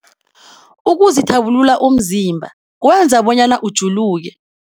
Ukuzithabulula umzimba kwenza bonyana ujuluke.